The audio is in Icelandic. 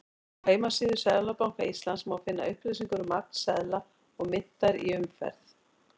Á heimasíðu Seðlabanka Íslands má finna upplýsingar um magn seðla og myntar í umferð.